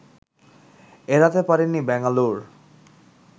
এড়াতে পারেনি ব্যাঙ্গালোর